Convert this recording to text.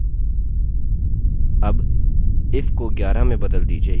अब यह काम नहीं करेगा और आप देखेंगे कि क्यों